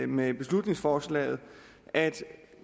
med beslutningsforslaget at